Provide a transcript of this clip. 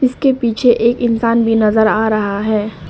इसके पीछे एक इंसान भी नजर आ रहा है।